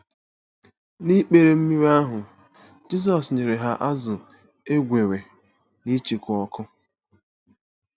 N'ikpere mmiri ahụ, Jizọs nyere ha azụ̀ e gwere n'icheku ọkụ.